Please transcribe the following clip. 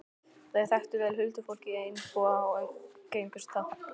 Þær þekktu vel huldufólkið í Einbúa og umgengust það.